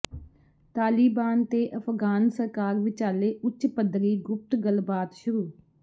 ਤਾਲਿਬਾਨ ਤੇ ਅਫ਼ਗ਼ਾਨ ਸਰਕਾਰ ਵਿਚਾਲੇ ਉੱਚ ਪੱਧਰੀ ਗੁਪਤ ਗੱਲਬਾਤ ਸ਼ੁਰੂ